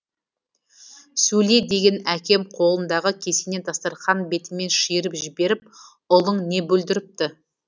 сөйле деген әкем қолындағы кесені дастарқан бетімен шиырып жіберіп ұлың не бүлдіріпті